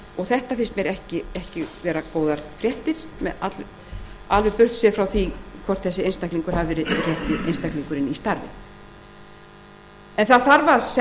þetta finnast mér ekki vera góðar fréttir burtséð frá því hvort þessi einstaklingur hafi verið rétti einstaklingurinn í starfið að mínu